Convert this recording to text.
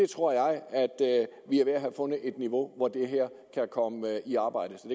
tror jeg at vi er ved at have fundet et niveau hvor det her kan komme i arbejde så